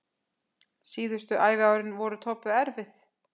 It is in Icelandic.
Síðustu æviárin voru Tobbu erfið.